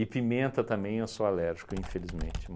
pimenta também, eu sou alérgico, infelizmente.